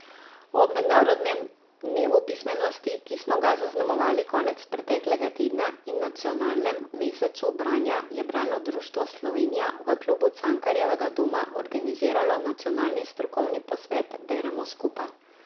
Ob mednarodnem dnevu pismenosti, ki smo ga zaznamovali konec preteklega tedna, in Nacionalnem mesecu branja je Bralno društvo Slovenija v Klubu Cankarjevega doma organiziralo nacionalni strokovni posvet Beremo skupaj.